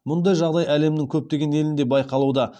мұндай жағдай әлемнің көптеген елінде байқалуда